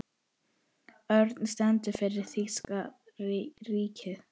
Örninn stendur fyrir þýska ríkið.